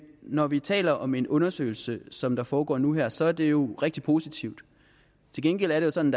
når vi taler om en undersøgelse som foregår nu her så er det jo rigtig positivt til gengæld er det sådan